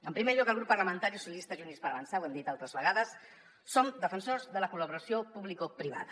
en primer lloc al grup parlamentari socialistes i units per avançar ho hem dit altres vegades som defensors de la col·laboració publicoprivada